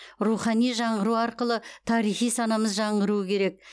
рухани жаңғыру арқылы тарихи санамыз жаңғыруы керек